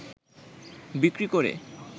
বিক্রি করে